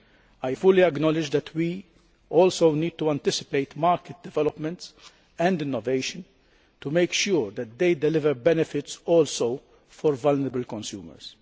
I fully acknowledge that we also need to anticipate market developments and innovation to make sure that these also deliver benefits for vulnerable consumers.